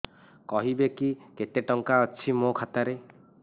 କହିବେକି କେତେ ଟଙ୍କା ଅଛି ମୋ ଖାତା ରେ